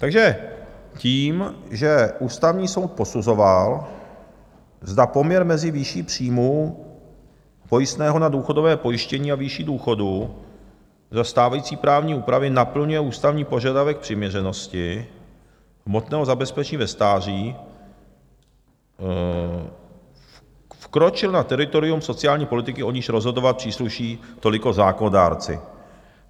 Takže tím, že Ústavní soud posuzoval, zda poměr mezi výší příjmů, pojistného na důchodové pojištění a výši důchodu za stávající právní úpravy naplňuje ústavní požadavek přiměřenosti hmotného zabezpečení ve stáří, vkročil na teritorium sociální politiky, o níž rozhodovat přísluší toliko zákonodárci.